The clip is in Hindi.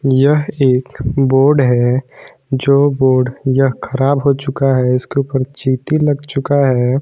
यह एक बोर्ड है जो बोर्ड यह खराब हो चुका है इसके ऊपर चींटी लग चुका है।